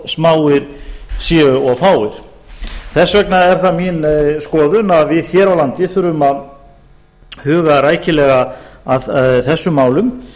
smáir séu og fáir þess vegna er það mín skoðun að við hér á landi þurfum að huga rækilega að þessum málum